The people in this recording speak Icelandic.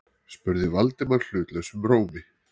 spurði Valdimar hlutlausum rómi.